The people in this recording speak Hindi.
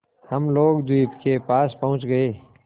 हम लोग द्वीप के पास पहुँच गए